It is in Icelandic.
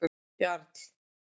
Jarl